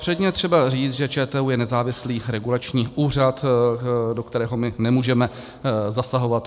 Předně je třeba říct, že ČTÚ je nezávislý regulační úřad, do kterého my nemůžeme zasahovat.